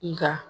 Nka